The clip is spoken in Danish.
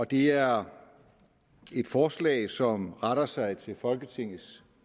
det er et forslag som retter sig til folketingets